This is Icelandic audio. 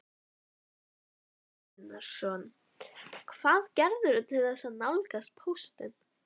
Hafþór Gunnarsson: Hvað gerirðu til þess að nálgast póstinn?